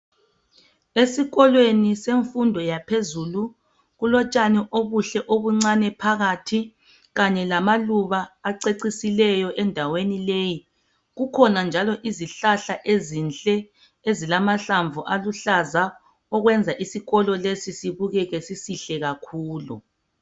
Esikolweni semfundo yaphezulu kulotshani obuhle obuncane phakathi kanye lamaluba acecisileyo endaweni leyi kukhona njalo izihlahla ezinhle ezilamahlamvu aluhlaza okwenza isikolo lesi sibukeke sisihle kakhulu.